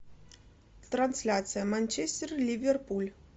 трансляция манчестер ливерпуль